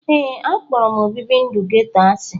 Ee, akpọrọ obibi ndụ geto asị.